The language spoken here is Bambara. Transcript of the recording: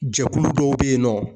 Jɛkulu dɔw be yen nɔ